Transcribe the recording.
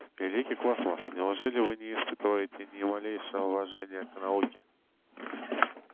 великий космос неужели вы не испытываете ни малейшего уважения к науке